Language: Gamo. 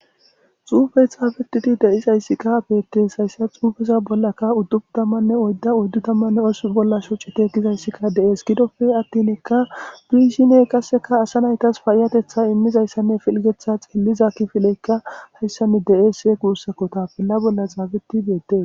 Xuufe xaafetidi deis hayssikka beettees hayssa xuufeza bollakka uddubu tammanne oydda oyddu tammanne os bolla shuci tegizayssikka deees gidofe attinekka biishiney qasseka asa naytas payiyatetha immizayssanne filgetha xeelliza ki fileykka hayssanne de'ese guussakko tapella bolla xaabeti beettees